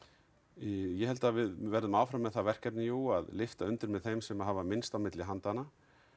ég held við verðum áfram með það verkefni jú að lyfta undir með þeim sem hafa minnst á milli handanna